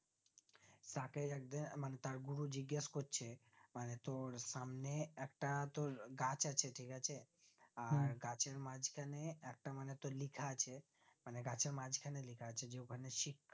তাকে একদিন মানে তার গুরু জিগেস করছে মানে তোর সামনে একটা তোর গাছ আছে ঠিক আছে আর গাছের মাজখানে একটা মানে তোর লিখা আছে মানে গাছের মাজখানে লিখা আছে যে দোকানে সি